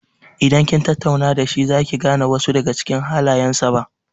Idan kin tattauna da shi za ki gane wasu daga cikin halayen sa ba.